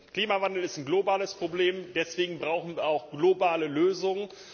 Klimawandel ist ein globales Problem, deswegen brauchen wir auch globale Lösungen.